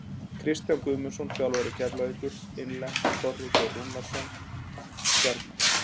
Kristján Guðmundsson, þjálfari Keflavíkur Innlent: Þorri Geir Rúnarsson- Stjarnan.